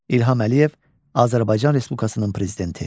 İlham Əliyev, Azərbaycan Respublikasının Prezidenti.